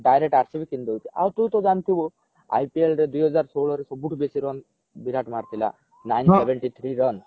direct RCB କିନିଦଉଛି ଆଉ ତୁ ତ ଜାଣିଥିବୁ IPL ରେ ଦୁଇ ହଜାର ଷୋହଳ ରେ ସବୁଠୁ ବେସୀ run ବିରାଟ ମାରିଥିଲା nine seventy three run